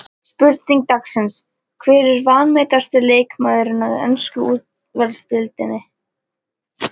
Spurning dagsins: Hver er vanmetnasti leikmaðurinn í ensku úrvalsdeildinni?